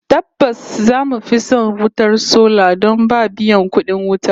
Tabbas zamu fi son wutar sola don ba biyan kudin wuta